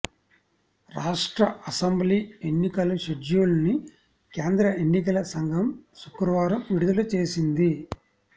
రాష్ట్ర అసెంబ్లీ ఎన్నికల షెడ్యూల్ను కేంద్ర ఎన్నికల సంఘం శుక్రవారం విడుదల చేసింది